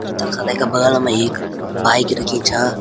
अर तख वेका बगल मा एक बाइक रखीं छा।